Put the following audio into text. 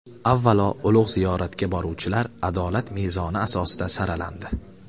Avvalo, ulug‘ ziyoratga boruvchilar adolat mezoni asosida saralandi.